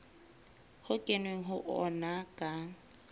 ho kenweng ho ona ka